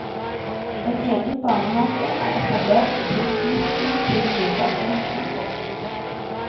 En egen barnehage er etablert i tilknytning til mottaket. punktum